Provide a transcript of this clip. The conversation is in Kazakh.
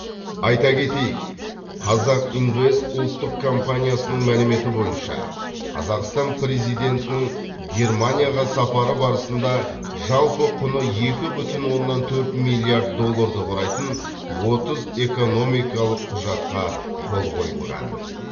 айта кетейік қазақ инвест ұлттық компаниясының мәліметі бойынша қазақстан президентінің германияға сапары барысында жалпы құны екі бүтін оннан төрт миллиард долларды құрайтын отыз экономикалық құжатқа қол қойылған